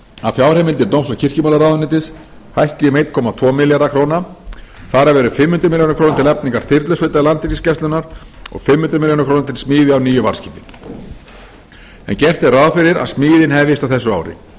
að fjárheimildir dóms og kirkjumálaráðuneytis hækki um einn komma tvo milljarða króna þar af eru fimm hundruð milljóna króna til eflingar þyrlusveit landhelgisgæslunnar og fimm hundruð milljóna króna til smíði á nýju varðskipi en gert er ráð fyrir að smíðin hefjist á þessu ári